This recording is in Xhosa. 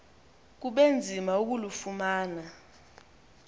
kube nzima ukulufumana